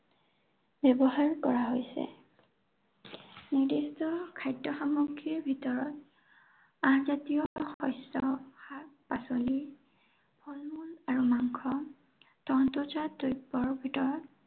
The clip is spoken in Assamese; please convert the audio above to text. ব্য়ৱহাৰ কৰা হৈছে। নিৰ্দিষ্ট খাদ্য় সামগ্ৰীৰ ভিতৰত আঁহজাতীয় শস্য়, শাক-পাঁচলি ফল-মূল আৰু মাংস, তন্ত্ৰজাত দ্ৰব্য়ৰ ভিতৰত